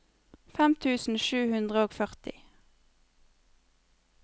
fem tusen sju hundre og førti